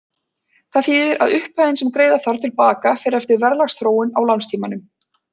Það þýðir að upphæðin sem greiða þarf til baka fer eftir verðlagsþróun á lánstímanum.